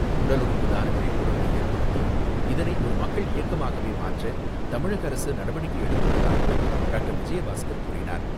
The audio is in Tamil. உடல் உறுப்பு தான விழிப்புணர்வை ஏற்படுத்தி இதனை ஒரு மக்கள் இயக்கமாகவே மாற்ற தமிழக அரசு நடவடிக்கை எடுத்துள்ளதாகவும் டாக்டர் விஜயபாஸ்கர் கூறினார்.